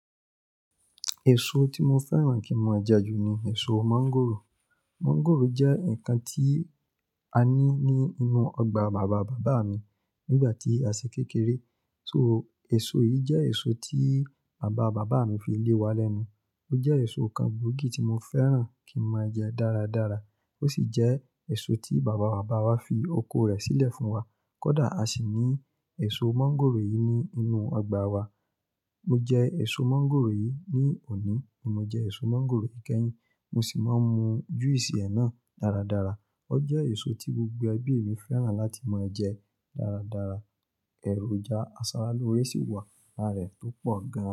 Èso tí mo fẹ́ràn kí mọ je jù ni èso mọ́ńgòrò. Mọ́ńgòrò jẹ́ ǹkan tí a ní ní inú ọgbà bàbá bàbá mi nígbà tí a sì kékeré. So èso yìí jẹ́ èso tí bàbá bàbá mi fi lé wa lẹ́nu. Ó jẹ́ èso kan gbogi tí mo fẹ́ràn kí n máa jẹ dáradára. Ó sì jẹ́ èso tí bàbá bàbá wa fi oko rẹ̀ sílẹ̀ fún wa. Kódà a sì ní èso mọ́ńgòrò yìí ní inú ọgbà wa. Mo jẹ èso mọ́ńgòrò yìí ní òní, ni mo jẹ èso mọ́ńgòrò yi kẹyìn, mo sì máa mu juice ẹ̀ náà dáradára. Ó jẹ́ èso tí gbogbo ẹbí mi fẹ́ràn láti máa jẹ dáradára. Ẹ̀rojá, asara lóré sì wà lára rẹ̀ tó pọ̀ gan.